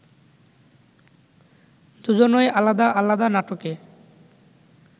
দুজনই আলাদা আলাদা নাটকে